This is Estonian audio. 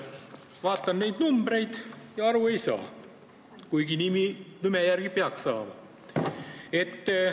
Vaatan neid numbreid ja aru ei saa, kuigi nagu peaks saama.